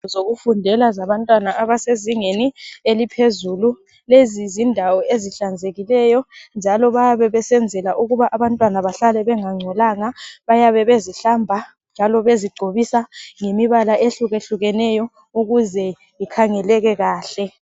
Zokufundela zabantwana abasezingeni eliphezulu lezi zindawo ezihlanzekileyo njalo bayabe besenzela ukuba abantwana bahlale bengangcolanga bayabe bezihlamba njalo bezigcobisa ngemibala ehluke hlukeneyo ukuze ikhangeleke kahle.